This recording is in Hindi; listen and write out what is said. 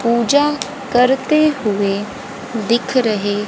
पूजा करते हुए दिख रहे।